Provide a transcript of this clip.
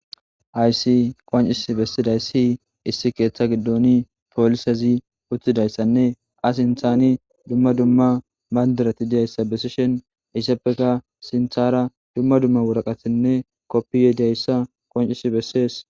Aysi qoncis bessiday si issi keeththa giddoni poolisezi uttidayssanne as inthani dumma dumma mandirati diyayssa besishen issappeka sinthara dumma dumma woraqatinne koppiye deyssa qoncisi bessees